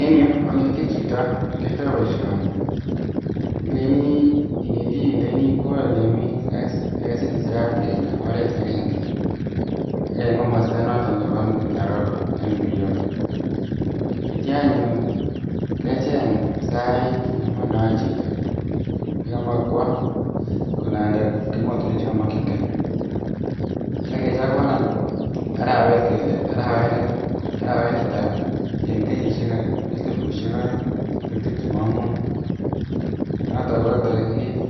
En yuu oneti chito yekiyoito boishoni, ileinii inetii ileini kwoo olemiiyesirat kele oreet akeng'e, ak en komosto noton nebo Nairobi en NPO, akityo anyun kecheng sait nemondoen chito nekomoe kwoo kolanda emotinwek chekomokying'e akechakwan any arawet kelee arawet netaa en kenyishek elibushek oeng ak tibtem ak muut, noton ko torikit,